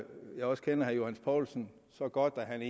jeg også kender herre johs poulsen så godt at han